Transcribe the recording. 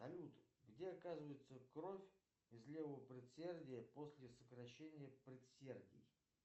салют где оказывается кровь из левого предсердия после сокращения предсердий